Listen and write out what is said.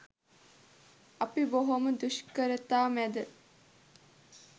අපි බොහොම දුෂ්කරතා මැද